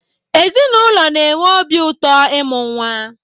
Ezinụlọ na-enwe obi ụtọ ịmụ nwa